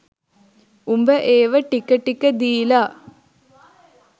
උඹ ඒව ටික ටික දීලා